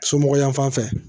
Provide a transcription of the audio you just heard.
Somɔgɔ yan fan fɛ